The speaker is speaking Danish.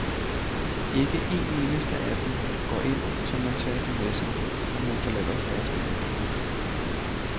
Ikke en eneste af dem går ind så man tager den med sig, når man forlader forestillingen.